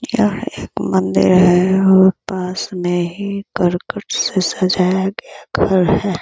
यह एक मंदिर है और पास में ही करकट से सजाया गया घर है।